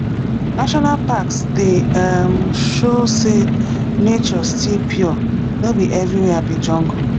national parks dey um show say nature still pure no be everywhere be jungle